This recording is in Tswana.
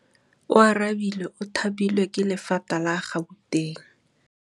Oarabile o thapilwe ke lephata la Gauteng.